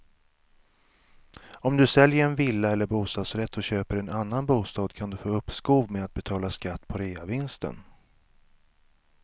Om du säljer en villa eller bostadsrätt och köper en annan bostad kan du få uppskov med att betala skatt på reavinsten.